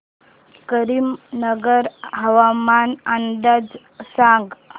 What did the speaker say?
करीमनगर हवामान अंदाज सांग